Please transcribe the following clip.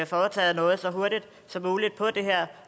foretaget noget så hurtigt som muligt på det her